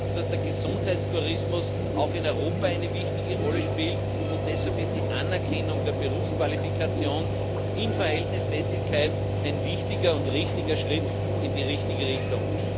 Wir wissen, dass der Gesundheitstourismus auch in Europa eine wichtige Rolle spielt, und deshalb ist die Anerkennung der Berufsqualifikation in Verhältnismäßigkeit ein wichtiger und richtiger Schritt in die richtige Richtung.